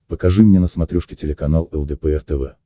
покажи мне на смотрешке телеканал лдпр тв